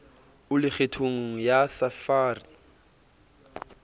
o le kgethong ya sapphire